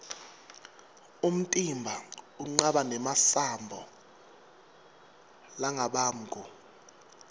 umtimba unqaba nemasambo largabamgu